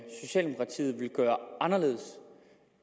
socialdemokratiet vil gøre anderledes